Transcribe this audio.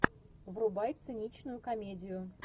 врубай циничную комедию